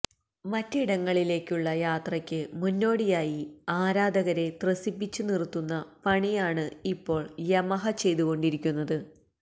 മറ്റിടങ്ങളിലേക്കുള്ള യാത്രയ്ക്കു മുന്നോടിയായി ആരാധകരെ ത്രസിപ്പിച്ചു നിറുത്തുന്ന പണിയാണ് ഇപ്പോള് യമഹ ചെയ്തുകൊണ്ടിരിക്കുന്നത്